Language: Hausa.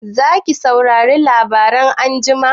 Zaki saurari labarai anjima?